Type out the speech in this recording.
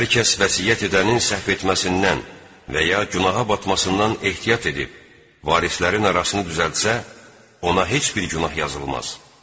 Hər kəs vəsiyyət edənin səhv etməsindən və ya günaha batmasından ehtiyat edib, varislərin arasını düzəltsə, ona heç bir günah yazılmaz.